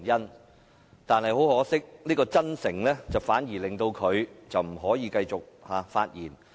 不過，很可惜，他的真誠反而令他不能繼續發言。